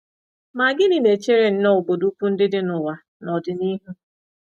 Ma gịnị na-echere nnọọ obodo ukwu ndị dị n’ụwa n’ọdịnihu?